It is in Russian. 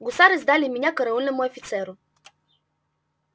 гусары сдали меня караульному офицеру